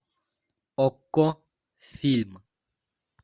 окко фильм